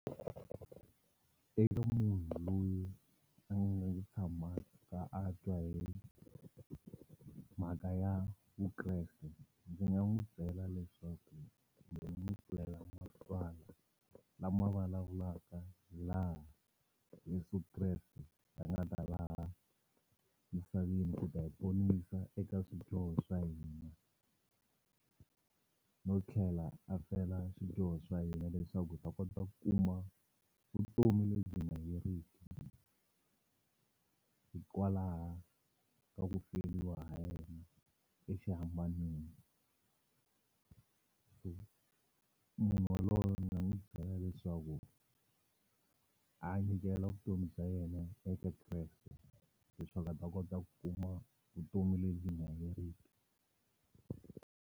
Eka munhu loyi a nga si tshamaka a twa hi mhaka ya Vukreste ndzi nga n'wu byela leswaku kumbe ni yi pfulela matswala lama vulavulaka hi laha Yeso Kreste a nga ta laha misaveni ku ta hi ponisa eka swidyoho swa hina no tlhela a fela swidyoho swa hina leswaku hi ta kota ku kuma vutomi lebyi nga heriki hikwalaha ka ku feliwa ha yena exihambanweni so munhu wa loye ni ta n'wu byela leswaku a ya nyikela vutomi bya yena eka Kreste leswaku a ta kota ku kuma vutomi lebyi nga heriki.